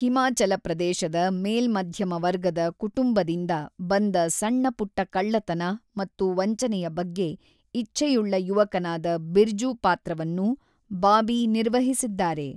ಹಿಮಾಚಲ ಪ್ರದೇಶದ ಮೇಲ್ಮಧ್ಯಮ ವರ್ಗದ ಕುಟುಂಬದಿಂದ ಬಂದ ಸಣ್ಣ-ಪುಟ್ಟ ಕಳ್ಳತನ ಮತ್ತು ವಂಚನೆಯ ಬಗ್ಗೆ ಇಚ್ಛೆಯುಳ್ಳ ಯುವಕನಾದ ಬಿರ್ಜು ಪಾತ್ರವನ್ನು ಬಾಬಿ ನಿರ್ವಹಿಸಿದ್ದಾರೆ.